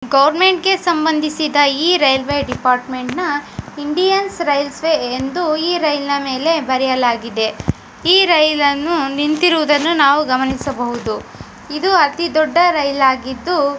Government ಗೆ ಸಂಬಂಧಿಸಿದ್ದ ಈ ರೈಲ್ವೆ ಡೆಪಾರ್ಮೆಂಟ್ ನ ಇಂಡಿಯನ್ ರೈಲ್ವೆ ಎಂದು ಈ ರೈಲ್ ಮೇಲೆ ಬರೆಯಲಾಗಿದೆ . ಈ ರೈಲ್ ನಿಂತಿರುವಾಂಡ್ನ್ನು ನಿವು ಗಮನಿಸಬಹುದು ಇದು ಅತಿದೊಡ್ಡ ರೈಲ್ ಆಗಿದ್ದು .